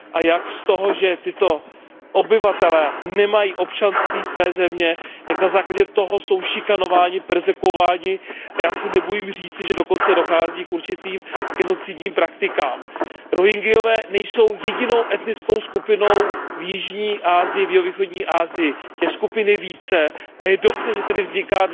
A jak z toho, že tito obyvatelé nemají občanství své země, jak na základě toho jsou šikanováni, perzekuováni a já se nebojím říct, že dokonce dochází k určitým genocidním praktikám. Rohingyové nejsou jedinou etnickou skupinou v jihovýchodní Asii, těch skupin je více a je dobře, že dnes vzniká